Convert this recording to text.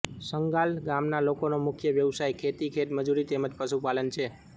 સંગાલ ગામના લોકોનો મુખ્ય વ્યવસાય ખેતી ખેતમજૂરી તેમ જ પશુપાલન છે